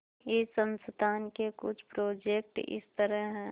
इस संस्थान के कुछ प्रोजेक्ट इस तरह हैंः